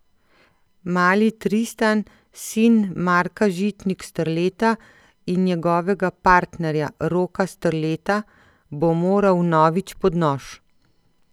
Mali Tristan, sin Marka Žitnik Strleta in njegovega partnerja Roka Strleta, bo moral vnovič pod nož.